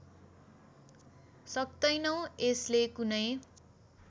सक्तैनौँ यसले कुनै